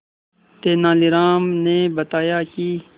तेनालीराम ने बताया कि